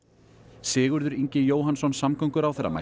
Sigurður Ingi Jóhannsson samgönguráðherra mælti